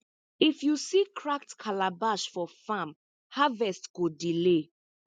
if you see cracked calabash for farm harvest go delay